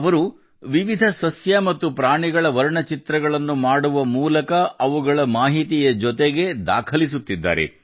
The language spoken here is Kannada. ಅವರು ವಿವಿಧ ಸಸ್ಯ ಮತ್ತು ಪ್ರಾಣಿಗಳ ವರ್ಣಚಿತ್ರಗಳನ್ನು ಮಾಡುವ ಮೂಲಕ ಅವುಗಳ ಮಾಹಿತಿಯ ಜೊತೆಗೆ ದಾಖಲಿಸುತ್ತಿದ್ದಾರೆ